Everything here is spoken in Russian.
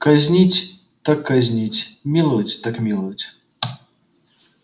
казнить так казнить миловать так миловать